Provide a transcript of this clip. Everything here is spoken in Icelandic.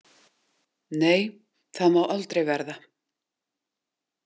Nei, það má aldrei verða.